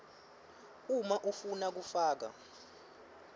uma ufuna kufaka